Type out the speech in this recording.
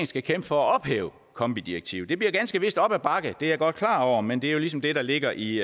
skal kæmpe for at ophæve kombi direktivet det bliver ganske vist op ad bakke det er jeg godt klar over men det er ligesom det der ligger i